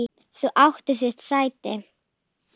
Þú áttir þitt sæti.